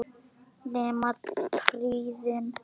Nema trýnið.